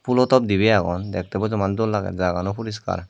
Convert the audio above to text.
pulotop dibe agon dekte bojoman dol lager jaga ano puriskar.